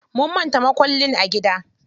Mun manta mukullin a gida.